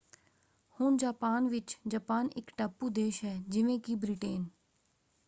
ਹੁਣ ਜਾਪਾਨ ਵਿੱਚ ਜਾਪਾਨ ਇਕ ਟਾਪੂ ਦੇਸ਼ ਹੈ ਜਿਵੇਂ ਕਿ ਬ੍ਰਿਟੇਨ।